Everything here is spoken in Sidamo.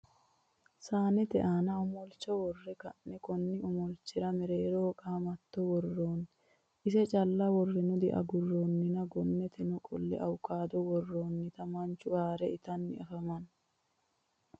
saannete aanna omolicho worre ka'ne konni omolichira mereereho qamatto woroonni isse cala worenno diagurooninna gonneteno qo'le awukaado worooniteni manchu haare itanni afamanno.